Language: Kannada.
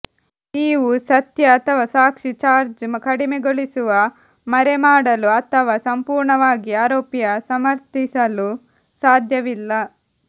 ನೀವು ಸತ್ಯ ಅಥವಾ ಸಾಕ್ಷಿ ಚಾರ್ಜ್ ಕಡಿಮೆಗೊಳಿಸುವ ಮರೆಮಾಡಲು ಅಥವಾ ಸಂಪೂರ್ಣವಾಗಿ ಆರೋಪಿಯ ಸಮರ್ಥಿಸಲು ಸಾಧ್ಯವಿಲ್ಲ